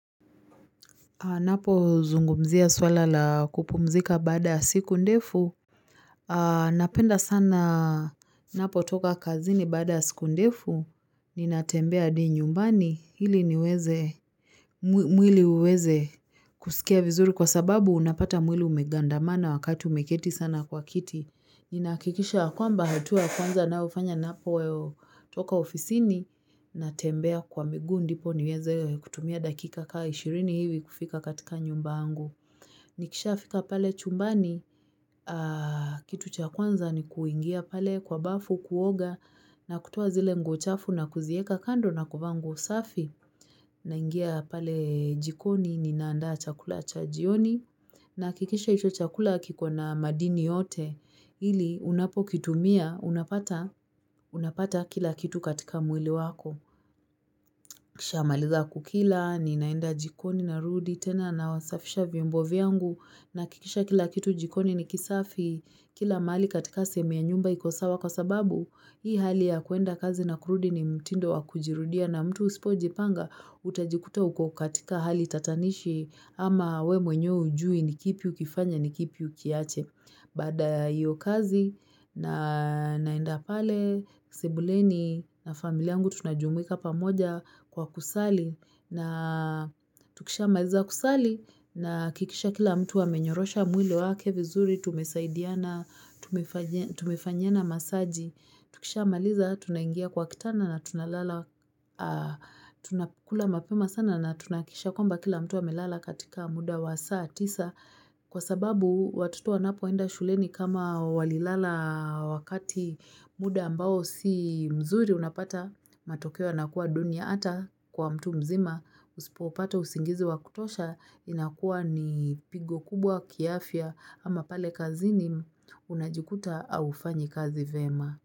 Ninapozungumzia swala la kupumzika baada siku ndefu. Napenda sana ninapotoka kazini baada ya siku ndefu. Ninatembea hadi nyumbani ili mwili uweze kusikia vizuri. Kwa sababu, unapata mwili umegandamana wakati umeketi sana kwa kiti. Ninahakikisha ya kwamba, hatua ya kwanza ninayofanya ninapotoka ofisini. Natembea kwa miguu ndipo niweze kutumia dakika kama ishirini hivi kufika katika nyumba yangu. Nikishafika pale chumbani kitu cha kwanza ni kuingia pale kwa bafu kuoga na kutoa zile nguo chafu na kuzieka kando na kuvaa nguo safi naingia pale jikoni ninaandaa chakula cha jioni, nahakikisha hicho chakula kikona madini yote ili unapokitumia, unapata kila kitu katika mwili wako. Nikishamaliza kukila, ninaenda jikoni narudi tena, nasafisha vyombo vyangu nahakikisha kila kitu jikoni ni kisafi. Kila mahali katika sehemu ya nyumba iko sawa kwa sababu, hii hali ya kuenda kazi na kurudi ni mtindo wa kujirudia na mtu usipojipanga, utajikuta uko katika hali tatanishi ama wewe mwenyewe hujui ni kipi ukifanye ni kipi ukiache. Baada ya hiyo kazi na naenda pale sebuleni na familia yangu tunajumuika pamoja kwa kusali na Tukishamaliza kusali, nahakikisha kila mtu amenyorosha mwili wake vizuri tumesaidiana, tumefanyiana masaji. Tukishamaliza, tunaingia kwa kitanda na tunalala Tunakula mapema sana na tunahakikisha kwamba kila mtu amelala katika muda wa saa tisa. Kwa sababu watoto wanapoenda shuleni kama walilala wakati muda ambao si mzuri unapata, matokeo yanakuwa duni ata kwa mtu mzima, usipopata usingizi wa kutosha, inakuwa ni pigo kubwa kiafya ama pale kazini. Unajikuta haufanyi kazi vyema.